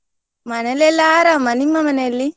ಮನೆಲ್ಲೆಲ್ಲ ಆರಾಮ, ನಿಮ್ಮ ಮನೆಯಲ್ಲಿ?